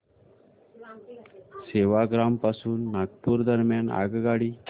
सेवाग्राम पासून नागपूर दरम्यान आगगाडी